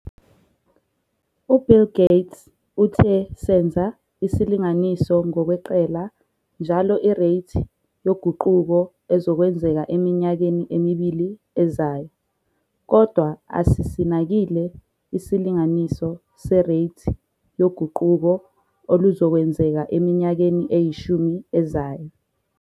U-Bill Gates uthe senza isilinganiso ngokweqela njalo ireythi yoguquko ezokwenzeka eminyakeni emibili ezayo, kodwa asisinakile isilinganiso sereythi yoguquko oluzokwenzeka eminyakeni eyishumi ezayo.